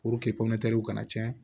kana cɛn